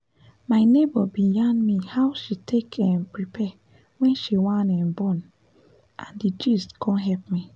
my neighbor bin yarn me how she take um prepare wen she wan um born n d gist con help me